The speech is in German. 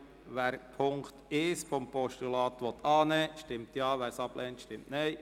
Wer Punkt 1 dieses Postulats annehmen will, stimmt Ja, wer dies ablehnt, stimmt Nein.